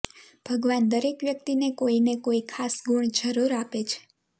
ભગવાન દરેક વ્યક્તિને કોઈને કોઈ ખાસ ગુણ જરૂર આપે છે